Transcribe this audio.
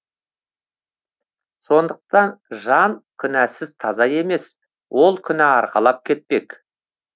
сондықтан жан күнәсіз таза емес ол күнә арқалап кетпек